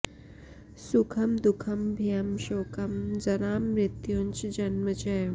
सुखं दुःखं भयं शोकं जरां मृत्युञ्च जन्म च